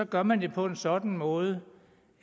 gør man det på en sådan måde